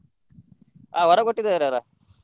ಹಾ ವರ ಕೊಟ್ಟಿದ್ದಾರಲ್ಲಾ.